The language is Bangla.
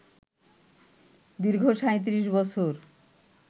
দীর্ঘ ৩৭ বছর